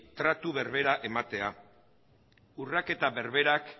tratu berdina ematea urraketa berberak